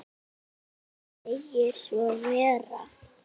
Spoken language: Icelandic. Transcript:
Jú, hann segir svo vera.